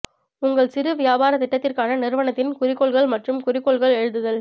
உங்கள் சிறு வியாபாரத் திட்டத்திற்கான நிறுவனத்தின் குறிக்கோள்கள் மற்றும் குறிக்கோள்கள் எழுதுதல்